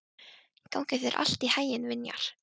Gangi þér allt í haginn, Vinjar.